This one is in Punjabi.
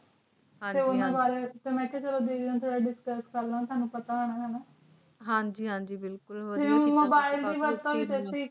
ਹਨ ਜੀ ਹਨ ਜੀ ਮੈਂ ਆਖਿਆ ਚਲੋ ਦੀਦੀ ਨਾਲ ਥੋੜ੍ਹਾ discuss ਕਰ ਲਾਵਾਂ ਤੁਅਨੁ ਪਤਾ ਹੋਵੇ ਗਏ ਨਾ ਹਾਂਜੀ ਹਾਂਜੀ ਬਿਲਕੁਲਹੋ ਜਾਏਗਾ ਤੇ ਮਲੋਬੀਲੇ ਦੀ mobile ਦੀ work ਇਛ ਅਸੀਂ ਕਿਸ ਤਰ੍ਹਾਂ